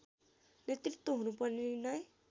नेतृत्व हुनुपर्ने निर्णय